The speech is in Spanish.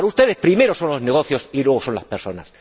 Para ustedes primero son los negocios y luego son las personas.